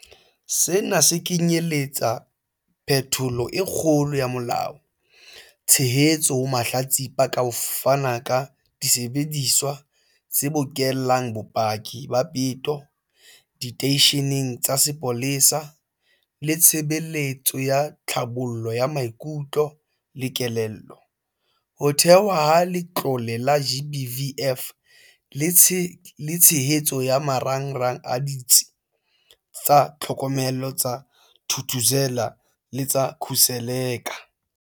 Sena se kenyeletsa phetholo e kgolo ya molao, tshehetso ho mahlatsipa ka ho fana ka disebediswa tse bokellang bopaki ba peto diteisheneng tsa sepolesa le ditshebeletso tsa tlhabollo ya maikutlo le kelello, ho thehwa ha Letlole la GBVF le tshehetso ya marangrang a Ditsi tsa Tlhokomelo tsa Thuthuzela le tsa Khuseleka.